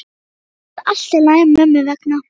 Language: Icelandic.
Þetta verður allt í lagi mömmu vegna.